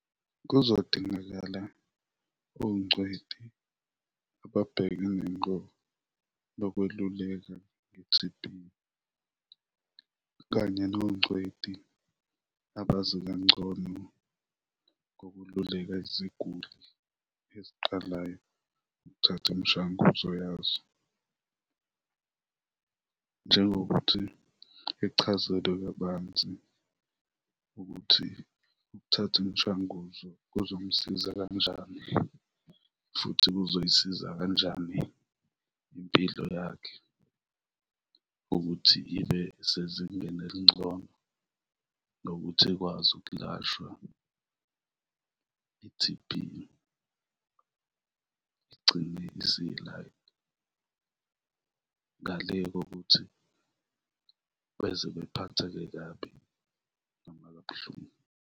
Kuzodingakala ongcweti ababhekene ngqo nokweluleka nge T_B kanye nongcweti abazi kangcono ngokululeka iziguli eziqalayo ukuthatha imishanguzo yazo, njengokuthi ichazelwe kabanzi ukuthi ukuthatha imishanguzo kuzomsiza kanjani futhi kuzoyisiza kanjani impilo yakhe ukuthi ibe sezingeni elingcono nokuthi ikwazi ukulashwa i-T_B, igcine ngale kokuthi beze bephatheke kabi noma kabuhlungu.